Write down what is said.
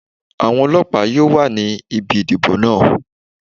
Àwọn ọlọ́pàá yóò wà ní ibi ìdìbò náà.